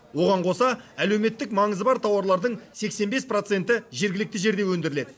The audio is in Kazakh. оған қоса әлеуметтік маңызы бар тауарлардың сексен бес проценті жергілікті жерде өндіріледі